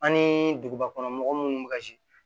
An ni dugubakɔnɔmɔgɔw minnu bɛ ka